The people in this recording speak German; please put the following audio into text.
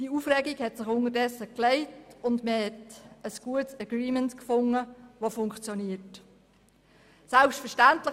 Die Aufregung hat sich unterdessen gelegt und man hat ein gutes und funktionierendes Agreement gefunden.